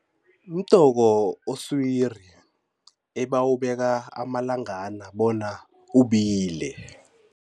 Mdoko oswiri ebawubeka amalangana bona ubile.